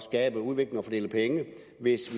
dets